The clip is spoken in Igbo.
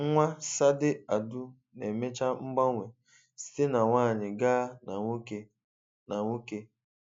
Nwa Sade Adu na-emecha mgbanwe site na nwanyị gaa na nwoke na nwoke